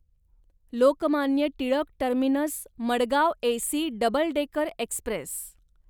Lokmanya Tilak terminus Madgaon AC double decker Express